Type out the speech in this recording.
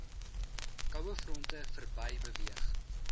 kouefronte verby beweeg